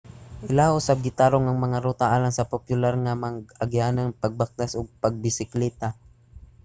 ilaha usab gitarong ang mga ruta alang sa popular nga mga agianan sa pagbaktas ug pagbisikleta